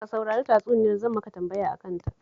Ka saurari tatsuniyar, zan maka tambaya a kanta